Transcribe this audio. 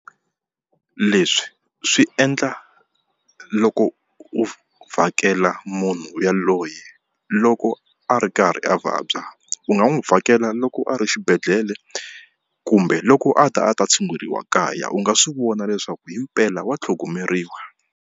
Leswi swi endla loko u vhakela munhu yaloye loko a ri karhi a vabya u nga n'wi vhakela loko a ri xibedhlele kumbe loko a ta a ta tshunguriwa kaya u nga swi vona leswaku himpela wa tlhogomeriwa.